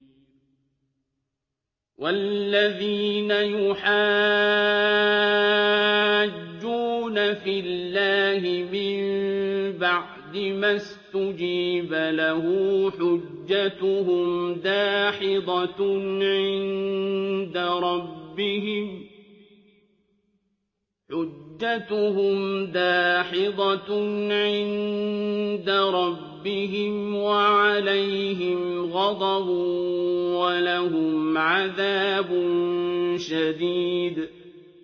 وَالَّذِينَ يُحَاجُّونَ فِي اللَّهِ مِن بَعْدِ مَا اسْتُجِيبَ لَهُ حُجَّتُهُمْ دَاحِضَةٌ عِندَ رَبِّهِمْ وَعَلَيْهِمْ غَضَبٌ وَلَهُمْ عَذَابٌ شَدِيدٌ